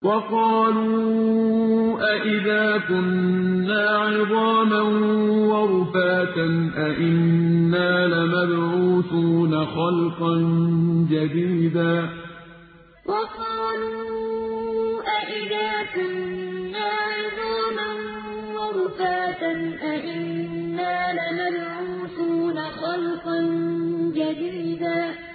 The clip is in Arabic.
وَقَالُوا أَإِذَا كُنَّا عِظَامًا وَرُفَاتًا أَإِنَّا لَمَبْعُوثُونَ خَلْقًا جَدِيدًا وَقَالُوا أَإِذَا كُنَّا عِظَامًا وَرُفَاتًا أَإِنَّا لَمَبْعُوثُونَ خَلْقًا جَدِيدًا